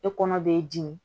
E kɔnɔ b'e dimi